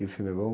E o filme é bom?